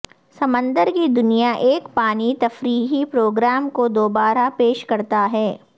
سمندر کی دنیا ایک پانی تفریحی پروگرام کو دوبارہ پیش کرتا ہے